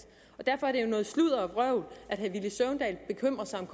derfor er noget sludder og vrøvl at herre villy søvndal bekymrer sig om